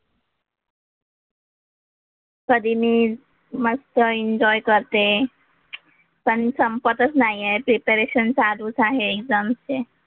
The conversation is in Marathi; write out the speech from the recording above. कधी मी मस्त एन्जॉय करते. पण संपतच नाही आहे. प्रिपरेशन चालूच आहे एक्झाम्सचे.